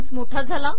हे मोठा झाले